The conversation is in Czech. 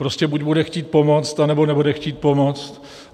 Prostě buď bude chtít pomoct, anebo nebude chtít pomoc.